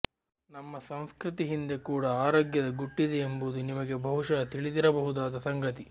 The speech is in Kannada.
ನಮ್ಮ ಸಂಸ್ಕೃತಿ ಹಿಂದೆ ಕೂಡ ಆರೋಗ್ಯದ ಗುಟ್ಟಿದೆ ಎಂಬುದು ನಿಮಗೆ ಬಹುಶಃ ತಿಳಿದಿರಬಹುದಾದ ಸಂಗತಿ